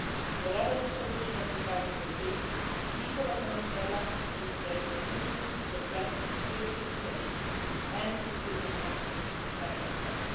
Whatever the solution to the crisis will be, the people of Venezuela need their institutions to address the security situation and to put the economy back on track.